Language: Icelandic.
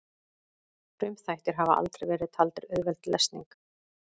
Frumþættir hafa aldrei verið taldir auðveld lesning.